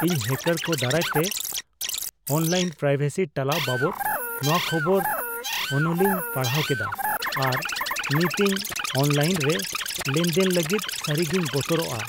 ᱤᱧ ᱦᱮᱠᱟᱨ ᱠᱚ ᱫᱟᱨᱟᱭ ᱛᱮ ᱚᱱᱞᱟᱭᱤᱱ ᱯᱨᱟᱭᱵᱷᱮᱥᱤ ᱴᱟᱞᱟᱣ ᱵᱟᱵᱚᱫ ᱱᱚᱣᱟ ᱠᱷᱚᱵᱚᱨ ᱚᱱᱚᱞᱤᱧ ᱯᱟᱲᱦᱟᱣ ᱠᱮᱫᱟ ᱟᱨ ᱱᱤᱛ ᱤᱧ ᱚᱱᱞᱟᱭᱤᱱ ᱨᱮ ᱞᱮᱱᱫᱮᱞ ᱞᱟᱹᱜᱤᱫ ᱥᱟᱹᱨᱤᱜᱮᱧ ᱵᱚᱛᱚᱨᱚᱜᱼᱟ᱾